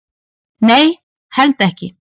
Nei, held ekki